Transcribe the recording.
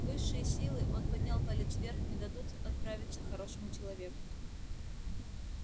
высшие силы он поднял палец вверх не дадут отравиться хорошему человеку